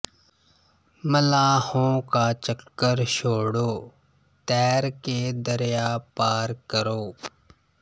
ਮੱਲਾਹੋਂ ਕਾ ਚੱਕਰ ਛੋੜੋ ਤੈਰ ਕੇ ਦਰਿਯਾ ਪਾਰ ਕਰੋ